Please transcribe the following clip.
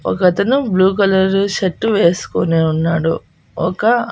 ఒకతను blue colour shirt వేసుకొని ఉన్నాడు ఒక--